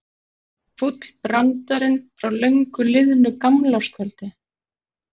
Endurtekur sig fúll brandarinn frá löngu liðnu gamlárskvöldi.